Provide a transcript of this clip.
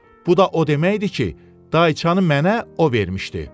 Bu da o deməkdir ki, dayçanı mənə o vermişdi.